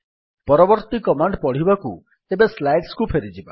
ପରବର୍ତ୍ତୀ କମାଣ୍ଡ୍ ପଢିବାକୁ ଏବେ ସ୍ଲାଇଡ୍ସ କୁ ଫେରିବା